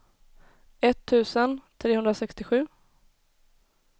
etttusen trehundrasextiosju